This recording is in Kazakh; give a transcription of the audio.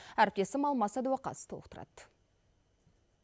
әріптесім алмас сәдуақас толықтырады